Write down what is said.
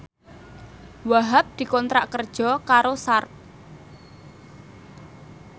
Wahhab dikontrak kerja karo Sharp